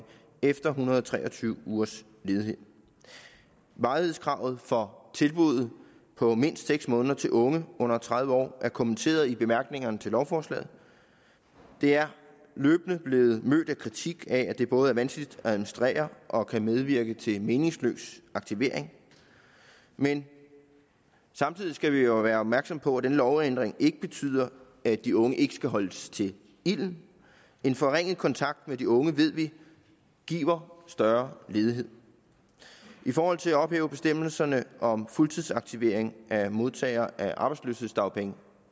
efter en hundrede og tre og tyve ugers ledighed varighedskravet for tilbuddet på mindst seks måneder til unge under tredive år er kommenteret i bemærkningerne til lovforslaget det er løbende blevet mødt med kritik af at det både er vanskeligt at administrere og kan medvirke til meningsløs aktivering men samtidig skal vi jo være opmærksomme på at denne lovændring ikke betyder at de unge ikke skal holdes til ilden en forringet kontakt med de unge ved vi giver større ledighed i forhold til at ophæve bestemmelserne om fuldtidsaktivering af modtagere af arbejdsløshedsdagpenge